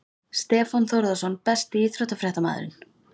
Stefán Þórðarson Besti íþróttafréttamaðurinn?